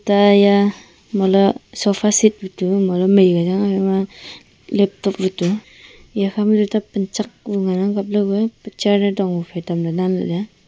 ta haiya mohle sofa seat bu tu mohle maikia chang aa phaima laptop butu iya khama tuta panchak ku ngan ang kapley kue picture ee dong phai tamley nan laley ya.